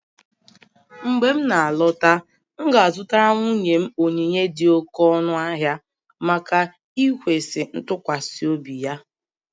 Mgbe m na-alọta, m ga-azụtara nwunye m onyinye dị oké ọnụ ahịa maka ikwesị ntụkwasị obi